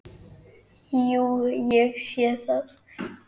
Jú, ég sé það.